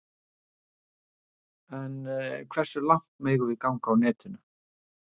En hversu langt megum við ganga á netinu?